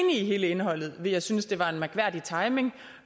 i hele indholdet ville jeg synes det var en mærkværdig timing